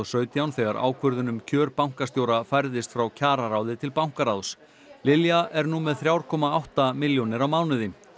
sautján þegar ákvörðun um kjör bankastjóra færðist frá kjararáði til bankaráðs Lilja er nú með þrjú komma átta milljónir á mánuði